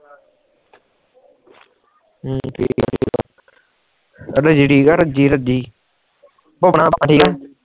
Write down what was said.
ਰਾਜੀ ਰਾਜੀ